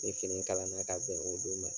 Ni fini kalan na ka bɛn o don ma.